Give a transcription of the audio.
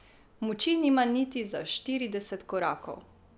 Moči nima niti za štirideset korakov.